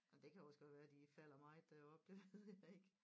Jamen det kan jo også godt være de falder meget deroppe det ved jeg ikke